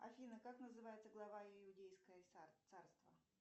афина как называется глава иудейское царство